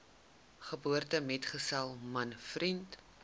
geboortemetgesel man vriend